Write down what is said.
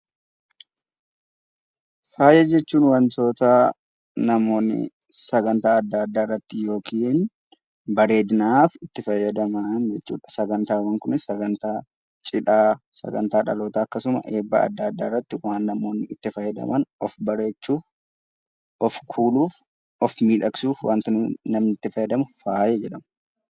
Faaya jechuun wantoota namoonni sagantaa adda addaa irratti yookiin bareeduudhaaf itti fayyadaman jechuudha akkasumas sagantaa cidhaa sagantaa adda addaa irratti namoonni itti fayyadaman jechuudha